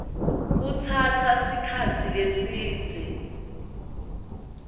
lokutsatsa sikhatsi lesidze